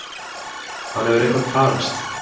Hann hefur eitthvað tafist.